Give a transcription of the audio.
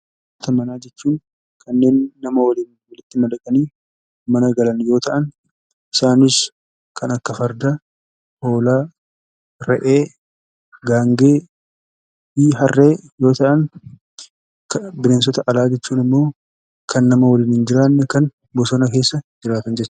Bineensota manaa jechuun kanneen nama waliin walitti madaqanii mana galan yoo ta'an, isaanis kan akka Fardaa, Hoolaa, Re'ee, Gaangee fi Harree yoo ta'an; Bineensota alaa jechuun immoo kan nama waliin hin jiraanne kan bosona keessa jiraatan jechuu dha.